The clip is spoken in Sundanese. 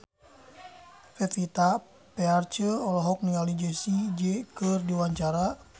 Pevita Pearce olohok ningali Jessie J keur diwawancara